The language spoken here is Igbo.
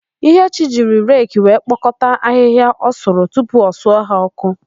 Ihechi jiri reki wee kpokọta ahịhịa ọ sụrụ tupu o suo ha ọ́kụ́.